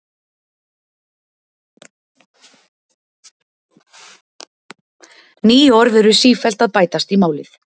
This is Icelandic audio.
Ný orð eru sífellt að bætast í málið.